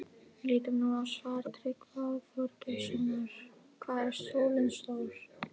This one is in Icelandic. Lítum nú á svar Tryggva Þorgeirssonar, Hvað er sólin stór?